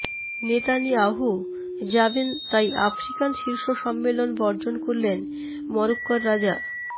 Netanyahu যাবেন তাই African শীর্ষ সম্মেলন বর্জন করলেন মরক্কোর রাজা